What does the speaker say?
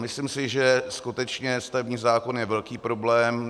Myslím si, že skutečně stavební zákon je velký problém.